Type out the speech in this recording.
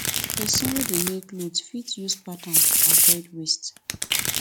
persin wey de make clothes fit use patterns to avoid waste